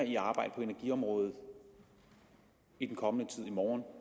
i arbejde på energiområdet i den kommende tid i morgen